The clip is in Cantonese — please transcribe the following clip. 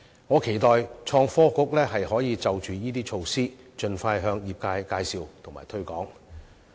我期待創科局可以就這些措施盡快向業界介紹及推廣。